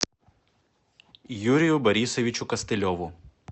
юрию борисовичу костылеву